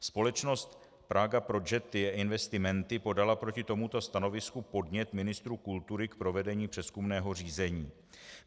Společnost Praga Progetti e Investment podala proti tomuto stanovisku podnět ministru kultury k provedení přezkumného řízení.